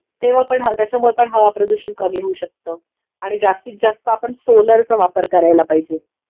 तेंव्हा पण हा त्याच्यामुळे पण हवाप्रदूषण कमी होऊ शकत आणि जास्तीतजास्त आपण सोलरचा वापर करायला पाहिजे